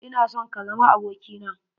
Ina son ka zama aboki na.